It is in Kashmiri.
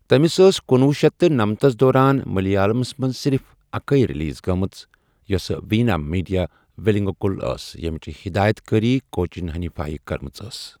تٔمِس ٲس کنوُہ شیٚتھ تہٕ نمَتس دوران مٔلیالَمس منٛز صِرف اَکٕے رِلیٖز گٔمٕژ یۄسہٕ ویٖنا میٖٹِیا وِلنٛگُکُل ٲس ییٚمِچ ہِدایت کٲری کوچِن حٔنیٖفایہ کٔرمٕژ ٲس۔